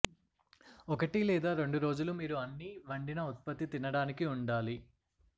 ఒకటి లేదా రెండు రోజులు మీరు అన్ని వండిన ఉత్పత్తి తినడానికి ఉండాలి